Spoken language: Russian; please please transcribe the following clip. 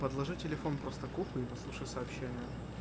подложи телефон просто к уху и послушай сообщение